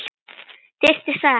Þyrftir sagði hann.